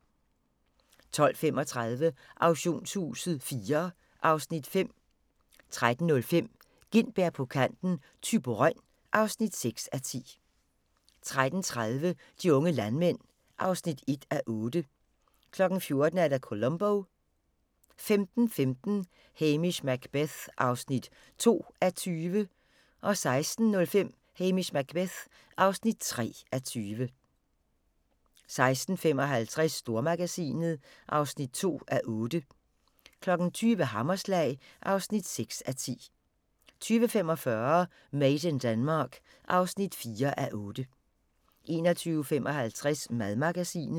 12:35: Auktionshuset IV (Afs. 5) 13:05: Gintberg på kanten - Thyborøn (6:10) 13:30: De unge landmænd (1:8) 14:00: Columbo 15:15: Hamish Macbeth (2:20) 16:05: Hamish Macbeth (3:20) 16:55: Stormagasinet (2:8) 20:00: Hammerslag (6:10) 20:45: Made in Denmark (4:8) 21:55: Madmagasinet